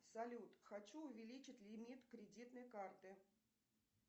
салют хочу увеличить лимит кредитной карты